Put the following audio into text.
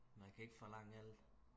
man kan ikke forlange alt